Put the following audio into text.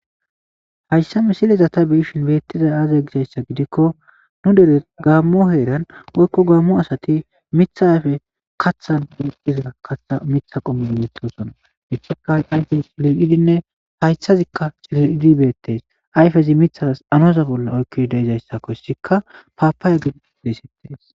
hayssa misileza ta biyishin beettizay aaza gisayssa gidikko nu dere gaammo heeran woykko gaammo asati mitha ayfe kaththan woqiza katha mitha qommeo metosona etika ayfe liidinne hayshazikka cilidibeettes ayfezi mithalas anoza bolla oykki deizayssakoyssikka paapaaye gid deesettees